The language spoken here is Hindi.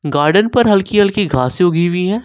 गार्डन पर हल्की हल्की घासें उगी हुई हैं।